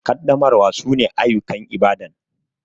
Kaddamarwa su ne ayukan Ibadan